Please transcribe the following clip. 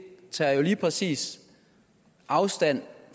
tager jo lige præcis afstand